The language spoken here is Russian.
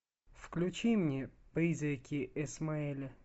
включи мне призраки исмаэля